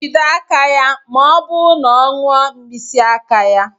Jide aka ya ma ọ bụ na ọ ṅụọ mkpịsị aka ya.